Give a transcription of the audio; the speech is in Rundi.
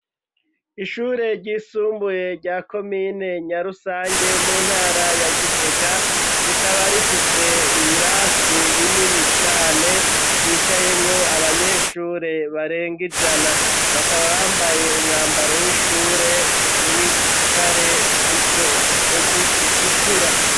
Ishure ryisumbuye, rya komine Nyarusange, mu ntara ya Gitega; rikaba rifise, ibirasi binini cane, ryicayemwo abanyeshure, barenga ijana; bakaba bambaye, umwambaro w'ishure, w'igitare, ufise igitoryi gitukura.